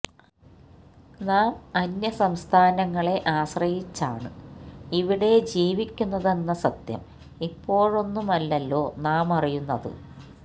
നാം അന്യ സംസ്ഥാനങ്ങളെ ആശ്രയിച്ചാണ് ഇവിടെ ജീവിക്കുന്നതെന്ന സത്യം ഇപ്പോഴൊന്നുമല്ലല്ലോ നാമറിയുന്നത്